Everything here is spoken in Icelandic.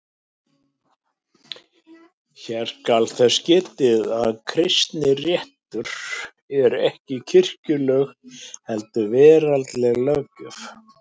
Hér skal þess getið að kristinréttur er ekki kirkjuleg heldur veraldleg löggjöf.